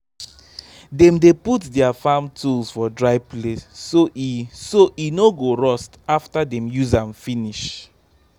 them dey put their farm tools for dry place so e so e no go rust after them use am finish